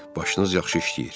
Başınız yaxşı işləyir.